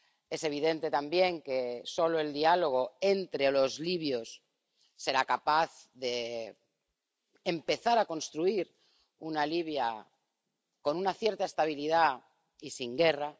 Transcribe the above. Es evidente también que solo el diálogo entre los libios podrá empezar a construir una Libia con una cierta estabilidad y sin guerra.